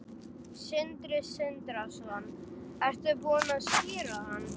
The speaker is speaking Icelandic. Sindri Sindrason: Ertu búin að skíra hann?